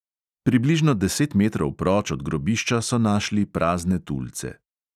Približno deset metrov proč od grobišča so našli prazne tulce.